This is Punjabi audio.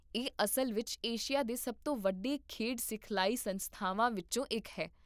ਇਹ ਅਸਲ ਵਿੱਚ ਏਸ਼ੀਆ ਦੇ ਸਭ ਤੋਂ ਵੱਡੇ ਖੇਡ ਸਿਖਲਾਈ ਸੰਸਥਾਵਾਂ ਵਿੱਚੋਂ ਇੱਕ ਹੈ